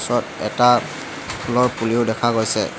তলত এটা ফুলৰ পুলিও দেখা গৈছে।